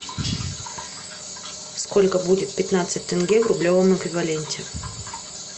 сколько будет пятнадцать тенге в рублевом эквиваленте